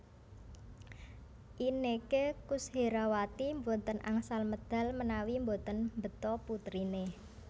Inneke Koesherawati mboten angsal medal menawi mboten beta putrine